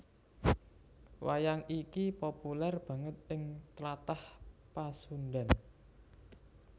Wayang iki populèr banget ing Tlatah Pasundhan